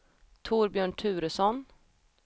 Torbjörn Turesson